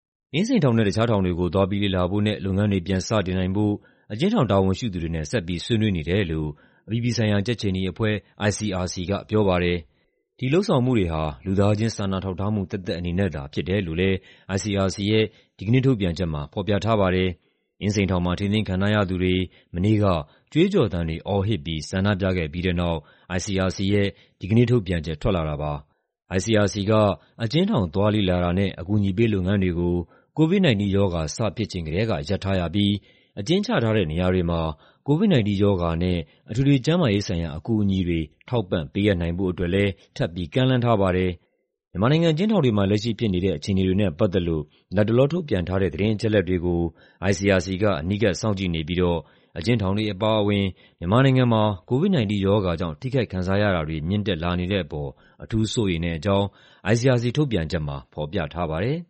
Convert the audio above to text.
အင်းစိန်ထောင်နဲ့ တခြားထောင်တွေကို သွားပြီးလေ့လာဖို့နဲ့ လုပ်ငန်းတွေ ပြန်စတင်နိုင်ဖို့ အကျဉ်းထောင် တာဝန်ရှိသူတွေနဲ့ ဆက်ပြီး ဆွေးနွေးနေတယ်လို့ အပြည်ပြည်ဆိုင်ရာ ကြက်ခြေနီအဖွဲ့ (ICRC) က ပြောပါတယ်။ ဒီလုပ်ဆောင်မှုတွေဟာ လူသားချင်း စာနာထောက်ထားမှု သက်သက်အနေနဲ့သာ ဖြစ်တယ်လို့လည်း ICRC ရဲ့ ဒီကနေ့ထုတ်ပြန်ချက်မှာ ဖော်ပြထားပါတယ်။ အင်းစိန်ထောင်မှာ ထိန်းသိမ်းခံထားရသူတွေ မနေ့က ကြွေးကျော်သံတွေ အော်ဟစ်ပြီး ဆန္ဒပြခဲ့ပြီးတဲ့နောက် ICRC ရဲ့ ဒီကနေ့ထုတ်ပြန်ချက် ထွက်လာတာပါ။ ICRC က အကျဉ်းထောင် သွားလေ့လာတာနဲ့ အကူအညီပေးလုပ်ငန်းတွေကို COVID-19 ရောဂါ စဖြစ်ချိန်ကတည်းက ရပ်ထားရပြီး အကျဉ်းချထားတဲ့နေရာတွေမှာ COVID-19 ရောဂါနဲ့ အထွေထွေကျန်းမာရေးဆိုင်ရာ အကူအညီတွေ ထောက်ပံ့ ပေးအပ်နိုင်ဖို့အတွက်လည်း ထပ်ပြီး ကမ်းလှမ်းထားပါတယ်။ မြန်မာနိုင်ငံ အကျဉ်းထောင်တွေမှာ လက်ရှိဖြစ်နေတဲ့ အခြေအနေတွေနဲ့ပတ်သက်လို့ လတ်တလော ထုတ်ပြန်ထားတဲ့ သတင်းအချက်အလက်တွေကို ICRC က အနီးကပ် စောင့်ကြည့်နေပြီးတော့ အကျဉ်းထောင်တွေအပါအဝင် မြန်မာနိုင်ငံမှာ COVID-19 ရောဂါကြောင့် ထိခိုက်ခံစားရတာတွေ မြင့်တက်လာနေတဲ့အပေါ် အထူးစိုးရိမ်တဲ့အကြောင်း ICRC ထုတ်ပြန်ချက်မှာ ဖော်ပြထားပါတယ်